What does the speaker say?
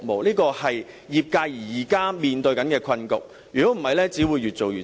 這是業界現時面對的困局，如不處理，只會越做越差。